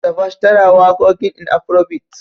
Tiwa Savage tana wakoƙin in Afrobeat.